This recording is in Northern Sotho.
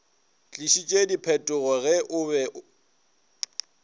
tlišitše diphetogo ge o be